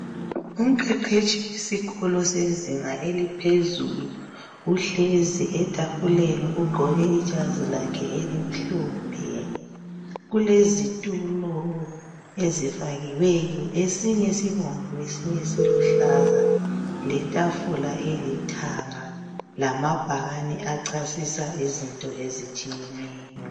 Umqeqetshi wesikolo sezinga eliphezulu. Uhlezi etafuleni ugqoke ijazi lakhe elimhlophe. Kulezitulo ezifakiweyo, esinye sibomvu esinye siluhlaza letafula elithanga lamabhakani achasisa izinto ezitshiyeneyo.